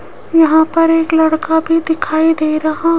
यहां पर एक लड़का भी दिखाई दे रहा--